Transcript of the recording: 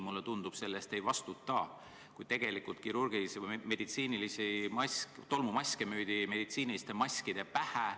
Mulle tundub, et mitte keegi selle eest ei vastuta, et tolmumaske müüdi meditsiiniliste maskide pähe.